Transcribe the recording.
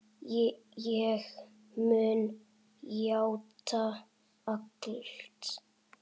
Ég mun játa allt.